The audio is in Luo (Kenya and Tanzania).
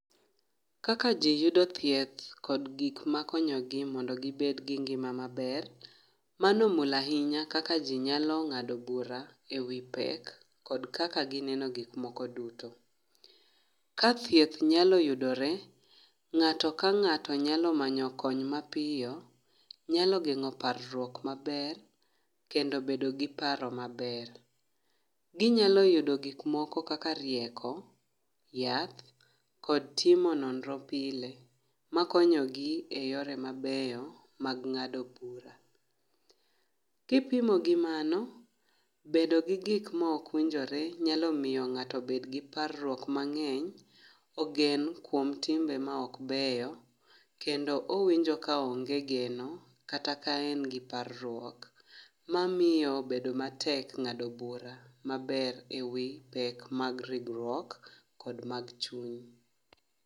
Kaka ji yudo thieth kod gikma konyogi mondo gibed gi ngima maber, mano omulahinya kaka ji nyalo ng'ado bura ewi pek kod kaka gineno gik moko duto. Ka thieth nyalo yudore, ng'ato ka ng'ato nyalo manyo kony mapiyo, nyalo geng'o parruok maber kendo bedo gi paro maber. Ginyalo yudo gik moko kaka rieko, yath, kod timo nonro pile makonyogi e yore mabeyo mag ng'ado bura. Kipimo gi mano, bedo gi gik mokwinjore nyalo miyo ng'ato bed gi parruok mang'eny, ogen kuom timbe maok beyo, kendo owinjo kaonge geno kata kaen gi parruok. Mamiyo bedo matek ng'ado bura maber ewi pek mag ringruok kod mag chuny.